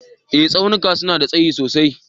Eh Tsaunuka suna da tsayi sosai.